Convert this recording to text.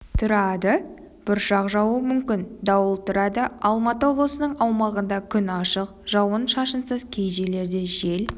тұрады бұршақ жаууы мүмкін дауыл тұрады алматы облысының аумағында күн ашық жауын-шашынсыз кей жерлерде жел